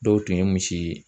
Dɔw tun ye misi ye